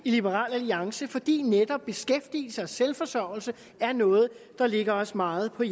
liberal alliance fordi netop beskæftigelse og selvforsørgelse er noget der ligger os meget på